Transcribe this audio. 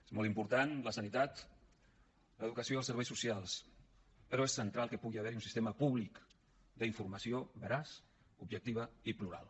són molt importants la sanitat l’educació i els serveis socials però és central que pugui haver hi un sistema públic d’informació veraç objectiva i plural